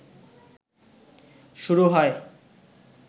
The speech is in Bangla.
শুরু হয়।